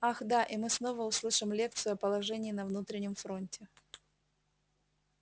ах да и мы снова услышим лекцию о положении на внутреннем фронте